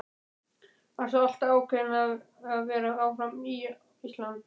Varstu alltaf ákveðin í að vera áfram á Íslandi?